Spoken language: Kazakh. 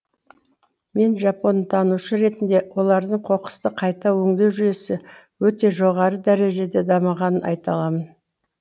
мен жапонтанушы ретінде олардың қоқысты қайта өңдеу жүйесі өте жоғары дәрежеде дамығанын айта аламын